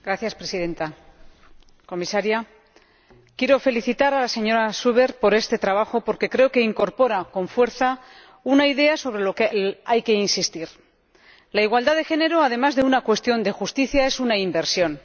Señora Presidenta, señora Comisaria, quiero felicitar a la señora Zuber por este trabajo, porque creo que incorpora con fuerza una idea sobre la que hay que insistir la igualdad de género, además de una cuestión de justicia, es una inversión.